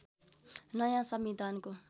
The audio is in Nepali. नयाँ संविधानको